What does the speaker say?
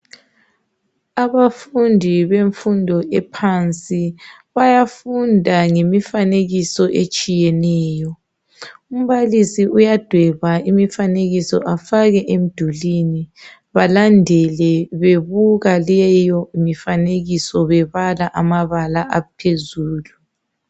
Abafundi bemfundo ephansi bayafunda ngemifanekiso etshiyeneyo umbalisi uyadweba imifanekiso afake emdulwini balandele bebuka leyo mifanekiso bebala amabala aphezulu